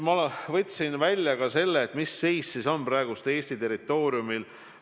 Ma võtsin välja andmed, mis seis on praegu Eesti territooriumil.